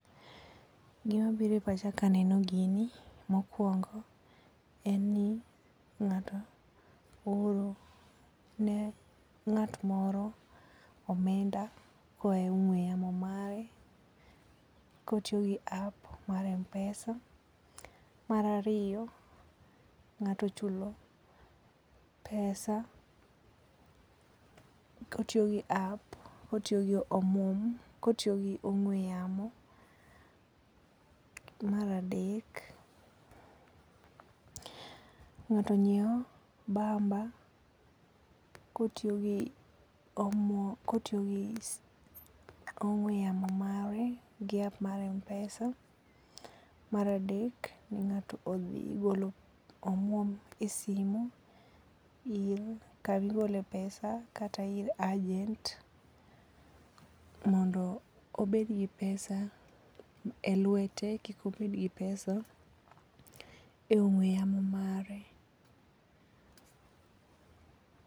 Gimabiro e pacha kaneno gini ,mokwongo en ni ng'ato ooro ne ng'at moro omenda koaye ong'we yamo mare kotiyo gi app mar M-pesa. Mar ariyo, ng'ato ochulo pesa kotiyo gi app, kotiyo gi ong'we yamo. Mar adek, ng'ato nyiewo bamba kotiyo gi ong'we yamo mare gi app mar M-pesa. Mar adek, ng'ato odhi golo omwom e simu kama igole pesa kata ir agent mondo obed gi pesa e lwete, kik obedgi pesa e ong'we yamo mare.